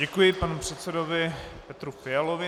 Děkuji panu předsedovi Petru Fialovi.